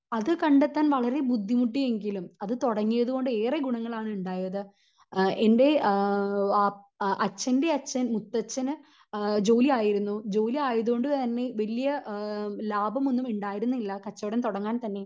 അത് കണ്ടെത്താൻ വളരേ ബുദ്ധിമുട്ടി എങ്കിലും അത് തുടങ്ങിയത് കൊണ്ട് ഏറെ ഗുണങ്ങളാണ് ഉണ്ടായത് അഹ് എൻ്റെ ആഹ് വാ അച്ഛൻ്റെ അച്ഛൻ മുത്തച്ഛന് അഹ് ജോലി ആയിരുന്നു ജോലി ആയതു കൊണ്ട് തന്നെ വലിയ ഏഹ് വലിയ ലാഭം ഒന്നും ഉണ്ടായിരുന്നില്ല കച്ചവടം തുടങ്ങാൻ തന്നെ